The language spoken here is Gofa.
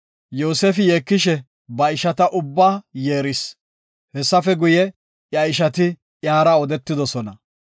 Yoosefi yeekishe ba ishata ubbaa yeeris. Hessafe guye, iya ishati iyara odetidosona.